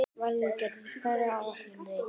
Valgarður, hvað er á áætluninni minni í dag?